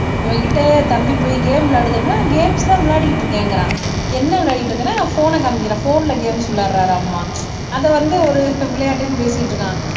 இவன்கிட்ட தம்பி போய் கேம் விளையாடு தம்பின்னா கேம்ஸ்தான் விளையாடிட்டு இருக்கேங்கிறான் என்ன விளையாடிட்டு இருக்கன்னா போன காமிக்கிறான் போன்ல கேம்ஸ் விளையாடறாராம் அத வந்து ஒரு விளையாட்டுன்னு பேசிட்டிருக்கான்.